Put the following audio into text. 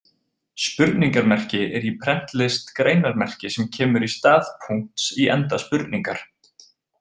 Spurningarmerki er í prentlist greinarmerki sem kemur í stað punkts í enda spurningar.